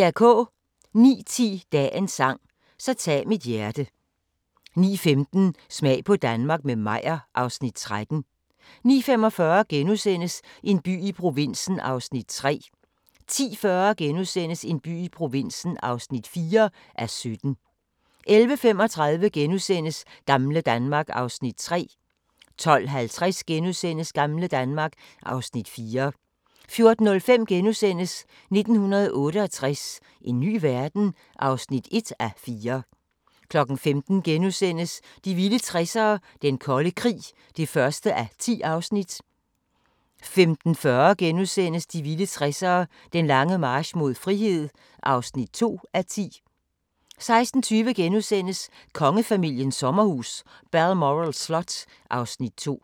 09:10: Dagens sang: Så tag mit hjerte 09:15: Smag på Danmark – med Meyer (Afs. 13) 09:45: En by i provinsen (3:17)* 10:40: En by i provinsen (4:17)* 11:35: Gamle Danmark (Afs. 3)* 12:50: Gamle Danmark (Afs. 4)* 14:05: 1968 – en ny verden? (1:4)* 15:00: De vilde 60'ere: Den kolde krig (1:10)* 15:40: De vilde 60'ere: Den lange march mod frihed (2:10)* 16:20: Kongefamiliens sommerhus – Balmoral Slot (Afs. 2)*